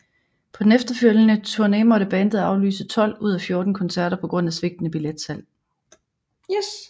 På den efterfølgende turné måtte bandet aflyse 12 ud af 14 koncerter på grund af svigtende billetsalg